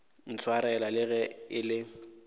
ntshwarela le ge e le